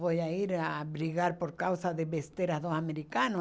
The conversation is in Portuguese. Vou ai a brigar por causa de besteiras dos americanos?